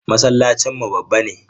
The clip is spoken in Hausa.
Masallacinmu babba ne.